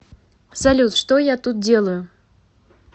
салют что я тут делаю